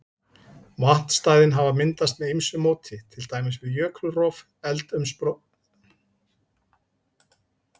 Vatnsstæðin hafa myndast með ýmsu móti, til dæmis við jökulrof, eldsumbrot, jarðskorpuhreyfingar eða bergskrið.